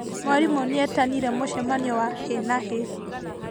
Mwarimũ nĩetanire mũcemanio wa hi na hi